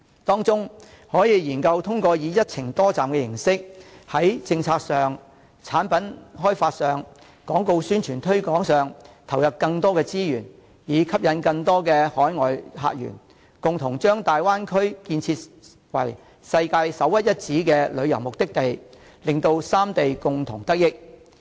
當中可以研究通過以"一程多站"的形式，在政策、產品開發、廣告宣傳推廣上投入更多資源，以吸引更多海外客源，共同把大灣區建設為世界首屈一指的旅遊目的地，令三地共同得益。